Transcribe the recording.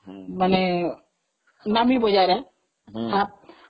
ମାନେ ନାମୀ ବଜାର ହଁ